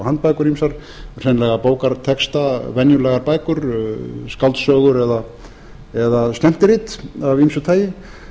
handbækur ýmsar hreinlega bókartexta venjulegar bækur skáldsögur eða skemmtirit af ýmsu tagi